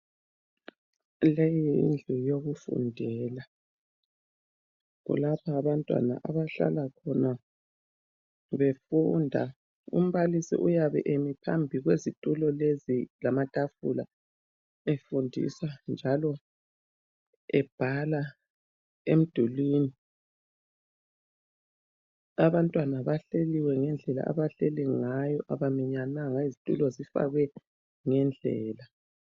Leyi yindlu yokufundela. Kulapha abantwana abahlala khona befunda. Umbalisi uyabe emi phambi kwezitulo lezi lamatafula efundisa njalo ebhala emdulini. Abantwana bahleliwe ngendlela abahleli ngayo, abaminyananga izitulo zifakwe ngendlela.